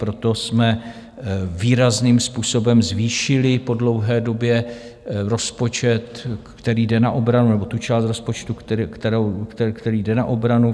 Proto jsme výrazným způsobem zvýšili po dlouhé době rozpočet, který jde na obranu nebo tu část rozpočtu, která jde na obranu.